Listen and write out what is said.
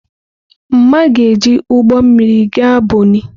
Mma ga-eji ụgbọ mmiri gaa Bonnị.